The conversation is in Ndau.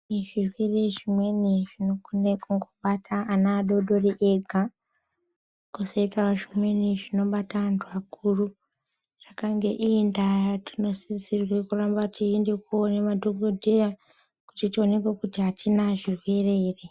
Izvi zvirwere zvimweni zvinogona kungobata ana adodori ega kwozoutawo zvimweni zvinobata antu akuru zvakangeinda tinosisirwa kuramba teienda koona madhokoteya kuti tioneke kuti atina zvirwere ere.